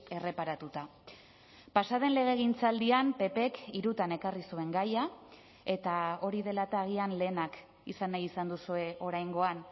erreparatuta pasa den legegintzaldian ppk hirutan ekarri zuen gaia eta hori dela eta agian lehenak izan nahi izan duzue oraingoan